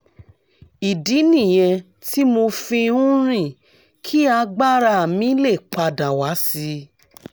ìdí nìyẹn tí mo fi ń rìn kí agbára mi lè pa dà wá sí i